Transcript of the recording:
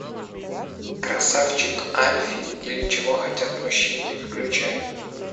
красавчик альфи или чего хотят мужчины включай